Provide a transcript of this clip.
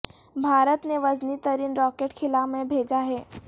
بھارت نے وزنی ترین راکٹ خلا میں بھیجا ہے